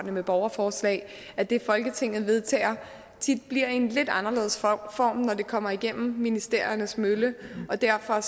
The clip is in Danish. med borgerforslag at det folketinget vedtager tit bliver i en lidt anderledes form når det kommer igennem ministeriernes mølle og derfor